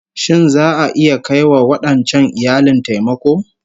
Shin za'a iya kai wa wadancan iyalin taimako?